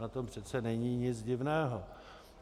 Na tom přece není nic divného.